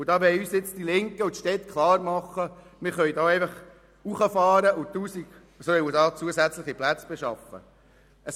Jetzt wollen uns die Linke und die Städte klarmachen, dass wir hochfahren und 1000 zusätzliche Plätze schaffen sollen.